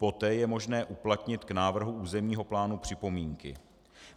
Poté je možné uplatnit k návrhu územního plánu připomínky.